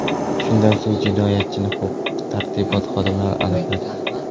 Shundan so‘ng jinoyatchini huquq-tartibot xodimlari aniqladi.